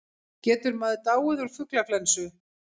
Getur maður dáið úr fuglaflensu?